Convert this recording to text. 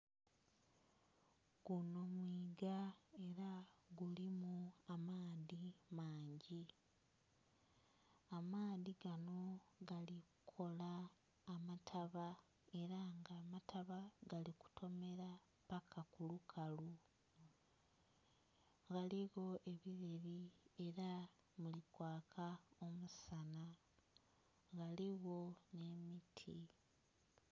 Gunho mwiiga era gulimu amaadhi mangi, amaadhi ganho gali kukola amataba era nga amataba gali kutomera paka kubukalu. Ghaligho ebireri era mulikwaka omusanha ghaligho nh'emiti.